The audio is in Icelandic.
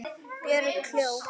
Björg hló.